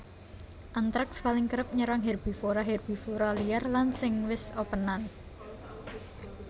Antraks paling kerep nyerang herbivora herbivora liar lan sing wis opènan